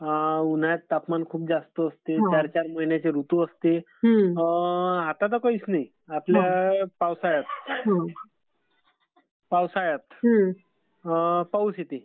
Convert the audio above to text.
उन्हाळ्यात तापमान खूप जास्त असते. चार चार महिन्यांचे ऋतू असते. आता तर काहीच नाही, आपल्या पावसाळ्यात, पावसाळ्यात, पाऊस येते.